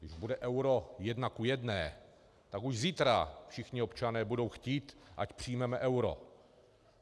Když bude euro jedna ku jedné, tak už zítra všichni občané budou chtít, ať přijmeme euro.